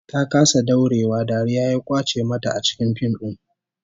Ta kasa daurewa, dariya ya kwace mata a cikin fim din